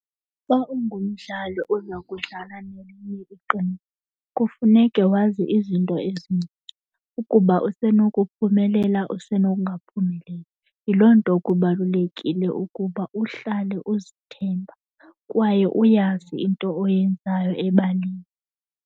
Xa ungumdlali oza kudlala nelinye iqembu kufuneke wazi izinto ezincinci, ukuba usenokuphumelela usenokungaphumeleli. Yiloo nto kubalulekile ukuba uhlale uzithemba kwaye uyazi into oyenzayo ebaleni.